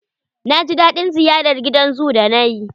Na ji daɗin ziyarar gidan zoo da nayi.